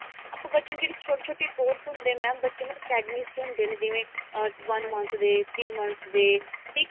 ਆਪਾਂ ਬੱਚਿਆਂ ਨੂੰ ਜਿਹੜੇ ਛੋਟੇ ਛੋਟੇ course ਹੁੰਦੇ ਨੇ mam ਬੱਚਿਆਂ ਨੂੰ academies ਚ ਹੁੰਦੇ ਨੇ ਜਿਵੇਂ ah one month ਦੇ three month ਦੇ six